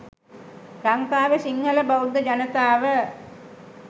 ලංකාවෙ සිංහල බෞද්ධ ජනතාව